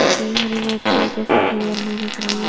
की हरी नेट की वजह से क्लियर नहीं दिख रही है।